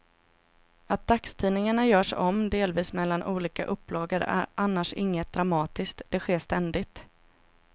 Att dagstidningar görs om delvis mellan olika upplagor är annars inget dramatiskt, det sker ständigt.